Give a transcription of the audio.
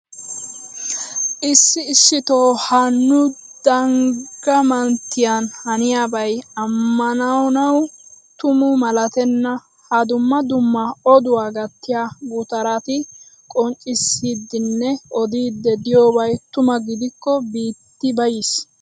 Issi issitoo ha nu dangga manttiyan haniyabay amananawu tuma malattenna. Ha dumma dumma oduwa gattiya gutaratti qonccissidinne odiidi diyobay tuma gidikko biiti bayiis!